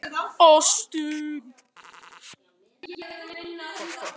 Hildibjörg, slökktu á þessu eftir fjörutíu og átta mínútur.